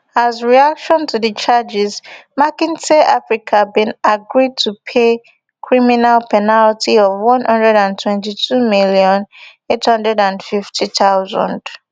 as reaction to di charges mckinsey africa bin agree to pay criminal penalty of one hundred and twenty-two million, eight hundred and fifty thousand